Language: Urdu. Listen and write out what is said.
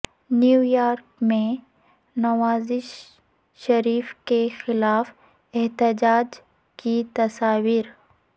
نیویارک میں نواز شریف کے خلاف احتجاج کی تصاویر